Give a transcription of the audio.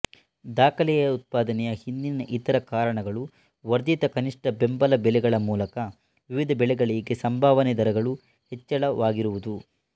ದಾಖಲೆಯ ಉತ್ಪಾದನೆಯ ಹಿಂದಿನ ಇತರ ಕಾರಣಗಳು ವರ್ಧಿತ ಕನಿಷ್ಠ ಬೆಂಬಲ ಬೆಲೆಗಳ ಮೂಲಕ ವಿವಿಧ ಬೆಳೆಗಳಿಗೆ ಸಂಭಾವನೆ ದರಗಳು ಹೆಚ್ಚಳವಾಗಿರುವುದು